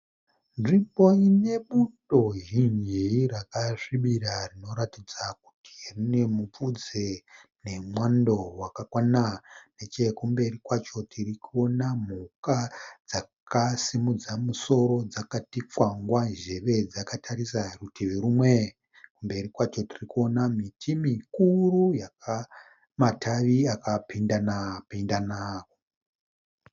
Nzvimbo ine bundo zhinji rakasvibira rinoratidza kuti rine mupfudze nemwando wakakwana. Nechekumberi kwacho tirikuona mhuka dzakasimudza musoro dzakati kwangwa zheve dzakatarisa divi rimwe. Kumberi kwacho tikuona miti mukuru ine matavi akapindana pindana.